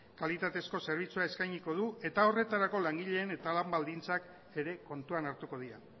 kalitatezko zerbitzua eskainiko du eta horretarako langileen eta lan baldintzak ere kontuan hartuko dira